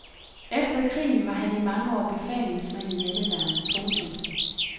Efter krigen var han i mange år befalingsmand i hjemmeværnet. punktum